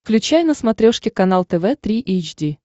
включай на смотрешке канал тв три эйч ди